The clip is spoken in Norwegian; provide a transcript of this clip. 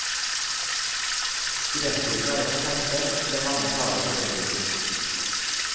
Billettprisen er også senket, etter mange klager fra publikum.